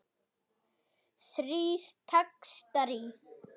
Þrír textar í